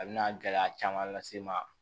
A bɛna gɛlɛya caman lase n ma